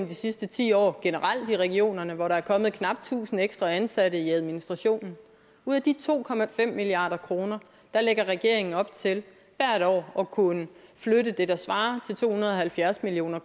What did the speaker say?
de sidste ti år generelt i regionerne hvor der er kommet knap tusind ekstra ansatte i administrationen ud af de to milliard kroner lægger regeringen op til hvert år at kunne flytte det der svarer til to hundrede og halvfjerds million